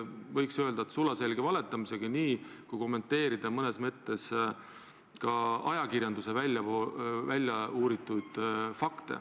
Võiks öelda, et tegemist on sulaselge valetamisega, kui kommenteerida mõnes mõttes ka ajakirjanduse väljauuritud fakte.